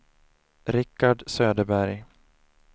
Rickard Söderberg